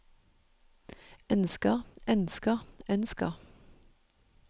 ønsker ønsker ønsker